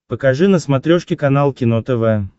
покажи на смотрешке канал кино тв